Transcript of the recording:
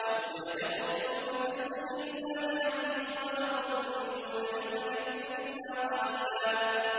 يَوْمَ يَدْعُوكُمْ فَتَسْتَجِيبُونَ بِحَمْدِهِ وَتَظُنُّونَ إِن لَّبِثْتُمْ إِلَّا قَلِيلًا